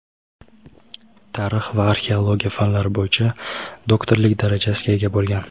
tarix va arxeologiya fanlari bo‘yicha doktorlik darajasiga ega bo‘lgan.